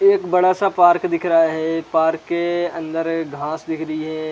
एक बड़ा सा पार्क दिख रहा है पार्क के अंदर घास दिख रहा है।